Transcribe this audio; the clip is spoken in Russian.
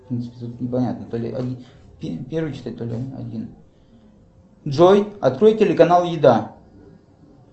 джой открой телеканал еда